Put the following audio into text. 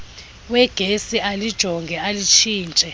wegesi alijonge alitshintshe